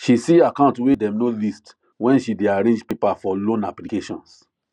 she see account way dem no list when she day arrange paper for loan applications